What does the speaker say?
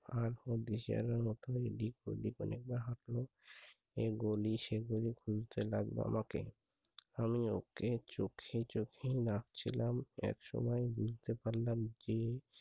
আর ও দিশে হারার মত এদিক ওদিক অনেকবার হাঁটল। এ গলি সে গলি খুঁজতে লাগল আমাকে। আমি ওকে চোখে চোখেই রাখছিলাম একসময় বুঝতে পারলাম যে